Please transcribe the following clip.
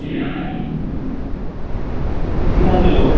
কি আলোচনা গো